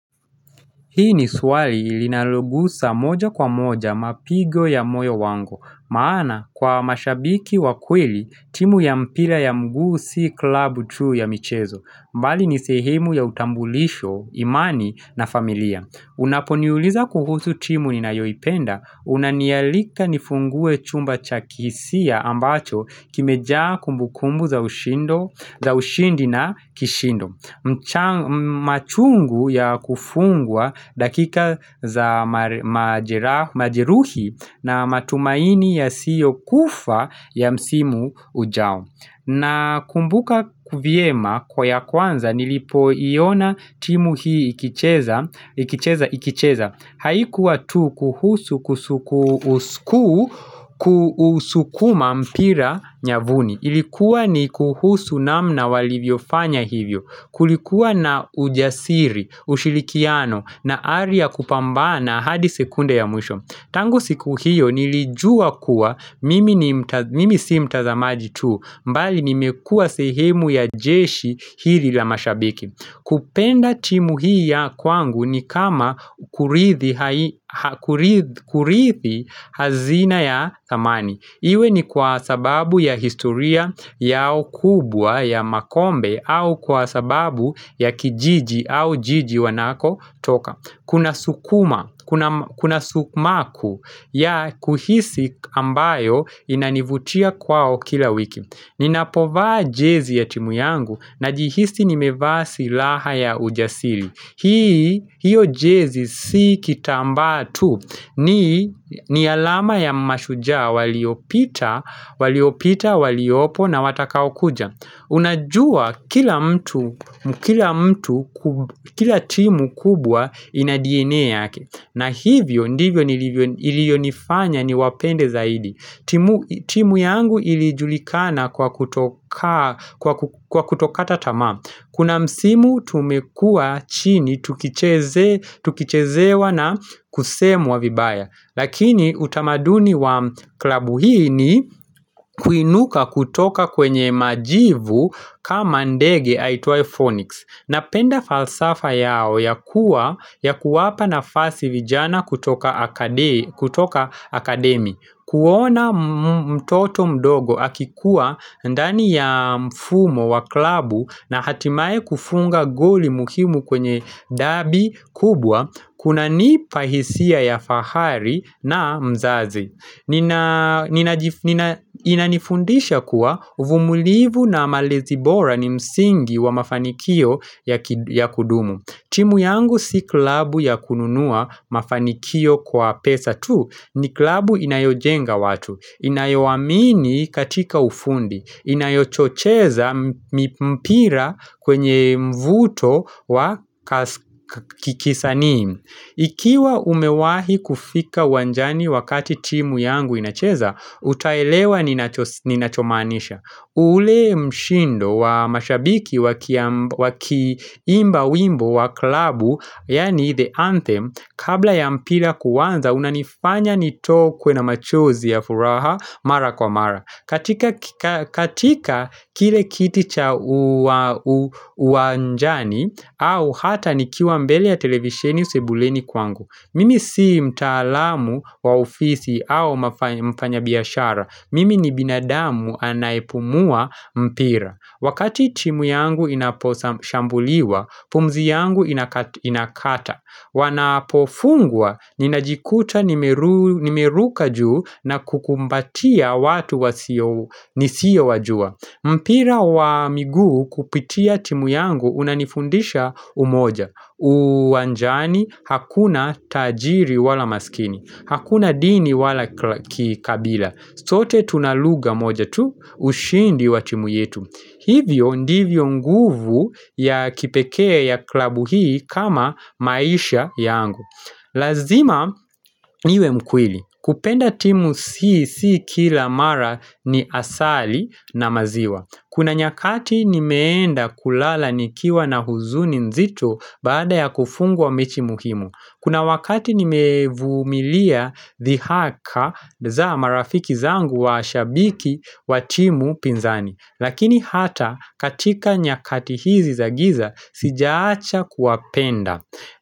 Hii ni swali ilinalogusa moja kwa moja mapigo ya moyo wango, maana kwa mashabiki wa kweli timu ya mpira ya mguu si klabu tuu ya michezo, mbali ni sehimu ya utambulisho, imani na familia. Una poniuliza kuhusu timu ninayoipenda, unanialika nifungue chumba cha kihisi ambacho kimejaa kumbukumbu za ushindi na kishindo. Mchangu ya kufungwa dakika za majiruhi na matumaini ya siyo kufa ya msimu ujao na kumbuka vyema kwa ya kwanza nilipo iona timu hii ikicheza Haikuwa tu kuhusu kusuku kusukuma mpira nyavuni Ilikuwa ni kuhusu namna walivyo fanya hivyo Kulikuwa na ujasiri, ushilikiano na aria kupambana hadi sekunde ya mwisho Tangu siku hiyo nilijua kuwa mimi si mtazamaji tu mbali nimekua sehemu ya jeshi hili la mashabiki kupenda timu hii ya kwangu ni kama kurithi hazina ya zamani Iwe ni kwa sababu ya historia yao kubwa ya makombe au kwa sababu ya kijiji au jiji wanako toka Kuna sukuma, kuna sukmaku ya kuhisi ambayo inanivutia kwao kila wiki Ninapovaa jezi ya timu yangu na jihisi nimevaa silaha ya ujasili hiyo jezi si kitamba tu ni alama ya mashuja waliopita, waliopita, waliopo na watakao kuja. Unajua kila mtu, kila timu kubwa ina DNA yake. Na hivyo, ndivyo ilionifanya ni wapende zaidi. Timu yangu ilijulikana kwa kutoka tatama. Kuna msimu tumekua chini tukichezewa na kusemu wavibaya lakini utamaduni wa klabu hii ni kuinuka kutoka kwenye majivu kama ndege aitua Phonics Napenda falsafa yao ya kuwa ya kuwapa na fasi vijana kutoka akademi kuona mtoto mdogo akikuwa ndani ya mfumo wa klabu na hatimaye kufunga goli muhimu kwenye dabi kubwa, kuna nipahisia ya fahari na mzazi. Inanifundisha kuwa umulivu na malezi bora ni msingi wa mafanikio ya kudumu. Timu yangu si klabu ya kununua mafanikio kwa pesa tu ni klabu inayojenga watu, inayowamini katika ufundi, inayochocheza mpira kwenye mvuto wa kikisani. Ikiwa umewahi kufika wanjani wakati timu yangu inacheza, utaelewa ninachomanisha. Ule mshindo wa mashabiki wa kiimba wimbo wa klabu, yani the anthem, kabla ya mpila kuwanza, unanifanya nitokwe na machuzi ya furaha mara kwa mara. Katika kile kiti cha uwanjani au hata nikiwa mbele ya televisheni sebuleni kwangu Mimi si mtaalamu wa ofisi au mfanya biashara Mimi ni binadamu anaipumua mpira Wakati timu yangu inaposambuliwa, pumzi yangu inakata Wanapofungwa ninajikuta nimeruka juu na kukumbatia watu nisiya wajua mpira wa migu kupitia timu yangu unanifundisha umoja uwanjani hakuna tajiri wala maskini Hakuna dini wala kikabila sote tunaluga moja tu ushindi wa timu yetu Hivyo ndivyo nguvu ya kipekea ya klabu hii kama maisha yangu Lazima niwe mkweli kupenda timu sii kila mara ni asali na maziwa Kuna nyakati nimeenda kulala nikiwa na huzuni nzito baada ya kufungwa mechi muhimu Kuna wakati nimevumilia dhihaka za marafiki zangu wa ashabiki wa timu pinzani Lakini hata katika nyakati hizi za giza sijaacha kuwapenda.